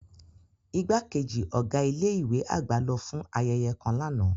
Igbakeji ọga ile-iwe agba lo fun ayeye kan làná.